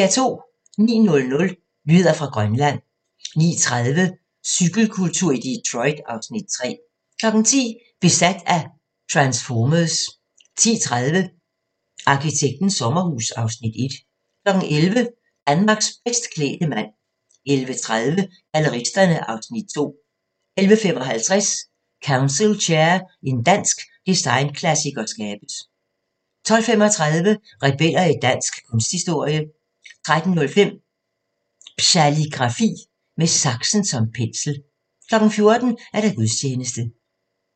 09:00: Nyheder fra Grønland 09:30: Cykelkultur i Detroit (Afs. 3) 10:00: Besat af transformers 10:30: Arkitektens sommerhus (Afs. 1) 11:00: Danmarks bedst klædte mand 11:30: Galleristerne (Afs. 2) 11:55: Council Chair – en dansk designklassiker skabes 12:35: Rebeller i dansk kunsthistorie 13:05: Psaligrafi: Med saksen som pensel 14:00: Gudstjeneste